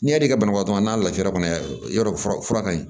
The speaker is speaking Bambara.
N'i y'a da i ka banabaatɔ n'a lafiya kɔnɔ yɔrɔ fura ka ɲi